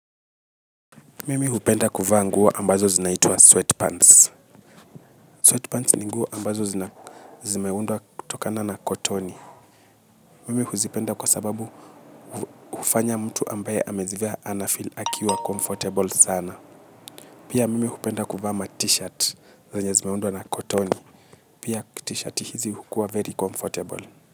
Mimi hupenda kuvaa nguo ambazo zinaitwa sweatpants. Sweatpants ninguo ambazo zimeundwa kutokana na kotoni. Mimi huzipenda kwa sababu ufanya mtu ambaye amezivea anafeel akiwa comfortable sana. Pia mimi hupenda kuvaa ma t-shirt zenye zimeundwa na kotoni. Pia t-shirt hizi hukuwa very comfortable.